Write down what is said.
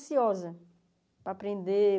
Ansiosa para aprender